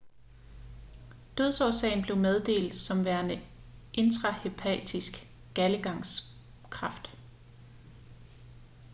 dødsårsagen blev meddelt som værende intrahepatisk galdegangskræft